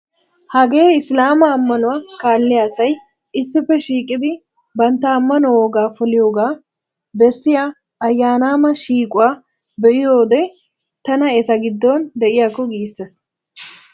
Hagee Isilaama ammanuwa kaalliya asay issippe shiiqidi bantta ammanuwa wogaa poliyogaa bessiya ayyaanama shiiquwa be'iyode tana eta giddon de'iyakko giisses.